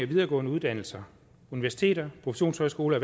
videregående uddannelser universiteter professionshøjskoler